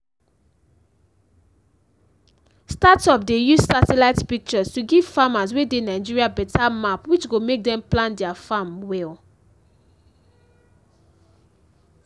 startup dey use satellite pictures to give farmers wey dey nigeria beta map which go make dem plan their farm well